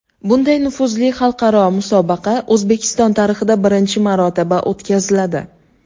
Bunday nufuzli xalqaro musobaqa O‘zbekiston tarixida birinchi marotaba o‘tkaziladi.